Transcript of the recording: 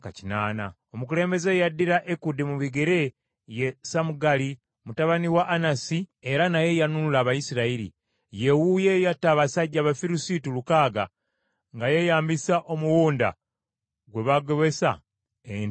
Omukulembeze eyaddira Ekudi mu bigere ye Samugali mutabani wa Anasi era naye yanunula Abayisirayiri. Ye wuuyo eyatta abasajja Abafirisuuti lukaaga nga yeeyambisa omuwunda gwe bagobesa ente nga zirima.